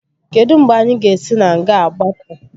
Kedụ mgbe anyị ga-esi na nga a gbapụ?